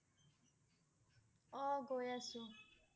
অ' গৈ আছোঁ।